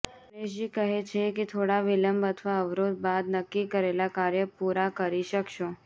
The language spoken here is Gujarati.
ગણેશજી કહે છે કે થોડા વિલંબ અથવા અવરોધ બાદ નક્કી કરેલા કાર્ય પૂરા કરી શકશો